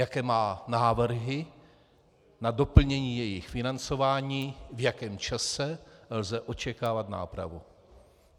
Jaké má návrhy na doplnění jejich financování, v jakém čase lze očekávat nápravu?